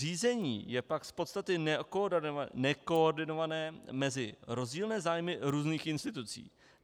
Řízení je pak z podstaty nekoordinované mezi rozdílné zájmy různých institucí.